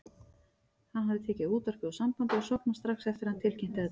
Hann hafði tekið útvarpið úr sambandi og sofnað strax eftir að hann tilkynnti þetta.